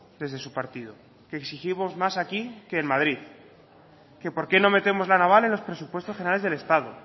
desde su partido que exigimos más aquí que en madrid que por qué no metemos la naval en los presupuestos generales del estado